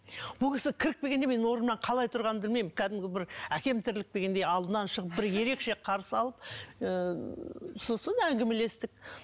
бұл кісі кіріп келгенде мен орнымнан қалай тұрғанымды білмеймін кәдімгі бір әкем тіріліп келгендей алдынан шығып бір ерекше қарсы алып ыыы сосын әңгімелестік